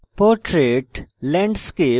portrait landscape